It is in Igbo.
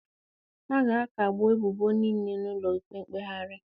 A ga-akagbu ebubo niile n'ụlọ ikpe mkpegharị